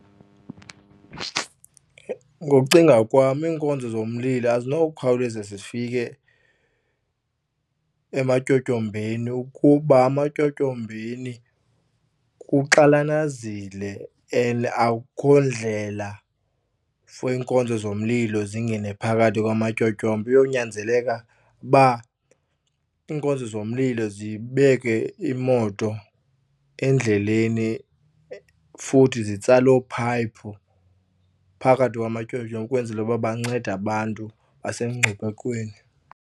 Ngokucinga kwam iinkonzo zomlilo azinowukhawuleza zifike ematyotyombeni ukuba ematyotyombeni kuxananazile and akukho ndlela for iinkonzo zomlilo zingene phakathi kwamatyotyombe. Kuyonyanzeleka uba iinkonzo zomlilo zibeke imoto endleleni futhi zitsale oopayiphu phakathi kwamatyotyombe kwenzela uba bancede abantu basemngciphekweni.